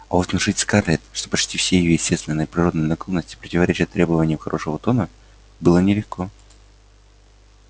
а вот внушить скарлетт что почти все её естественные природные наклонности противоречат требованиям хорошего тона было нелегко